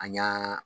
An y'an